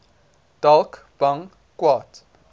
dalk bang kwaad